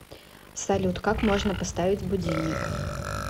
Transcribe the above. салют как можно поставить будильник